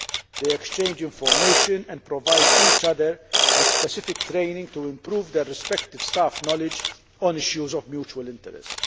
They exchange information and provide each other with specific training to improve their respective staff knowledge on issues of mutual interest.